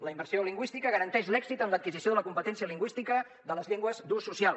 la immersió lingüística garanteix l’èxit en l’adquisició de la competència lingüística de les llengües d’ús social